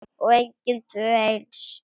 Og engin tvö eins.